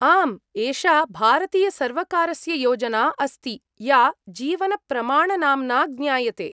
आम्, एषा भारतीयसर्वकारस्य योजना अस्ति या जीवनप्रमाणनाम्ना ज्ञायते।